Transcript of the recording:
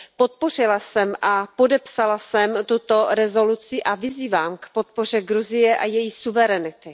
Podpořila jsem a podepsala jsem tuto rezoluci a vyzývám k podpoře Gruzie a její suverenity.